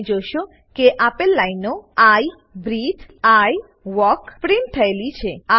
તમે જોશો કે આપેલ લાઈનો I breathe I walk print થયેલી છે